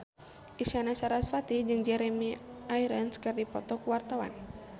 Isyana Sarasvati jeung Jeremy Irons keur dipoto ku wartawan